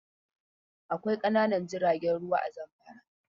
Akwai ƙananan jiragen ruwa a Zamfara.